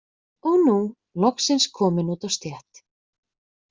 Og er nú loksins kominn út á stétt.